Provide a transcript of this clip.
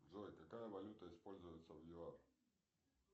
джой какая валюта используется в юар